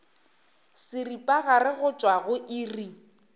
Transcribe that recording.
seripagare go tšwa go iri